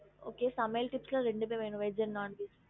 ஹம் ஹம்